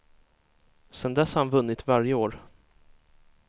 Sedan dess har han vunnit varje år.